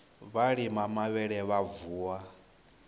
vha lima mavhele vha vuwa